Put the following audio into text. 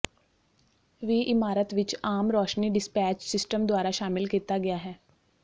ਵੀ ਇਮਾਰਤ ਵਿਚ ਆਮ ਰੋਸ਼ਨੀ ਡਿਸਪੈਚ ਸਿਸਟਮ ਦੁਆਰਾ ਸ਼ਾਮਿਲ ਕੀਤਾ ਗਿਆ ਹੈ